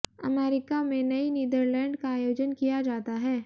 America में नई Netherland का आयोजन किया जाता है